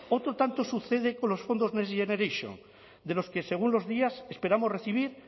otro tanto sucede con los fondos next generation de los que según los días esperamos recibir